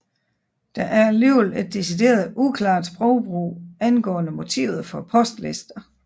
Der er alligevel et decideret uklart sprogbrug angående motivet for postlister